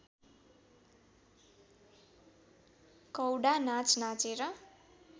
कौडा नाच नाचेर